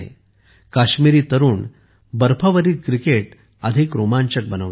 काश्मीरी तरुण बर्फावरील क्रिकेट अधिक रोमांचक बनवतात